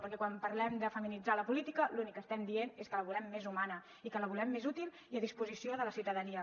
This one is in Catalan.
perquè quan parlem de feminitzar la política l’únic que estem dient és que la volem més humana i que la volem més útil i a disposició de la ciutadania